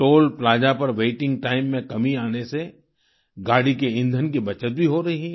toll plaza पर waiting time में कमी आने से गाड़ी के ईंधन की बचत भी हो रही है